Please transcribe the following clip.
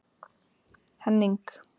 Henning